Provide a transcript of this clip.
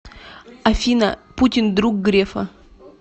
афина путин друг грефа